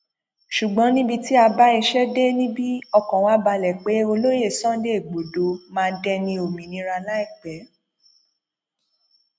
ṣùgbọn níbi tí a bá iṣẹ dé níbi ọkàn wa balẹ pé olóye sunday igbodò máa dẹni òmìnira láìpẹ